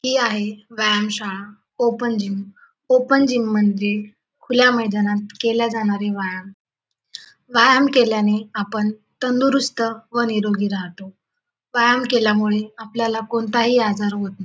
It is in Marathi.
ही आहे व्यायाम शाळा ओपन जिम ओपन जिम म्हणजे खुल्या मैदानात केले जाणारे व्यायाम व्यायाम केल्याने आपण तंदरुस्त व निरोगी राहतो व्यायाम केल्यामुळे आपल्याला कोणताही आजार होत --